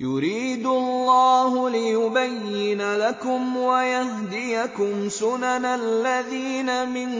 يُرِيدُ اللَّهُ لِيُبَيِّنَ لَكُمْ وَيَهْدِيَكُمْ سُنَنَ الَّذِينَ مِن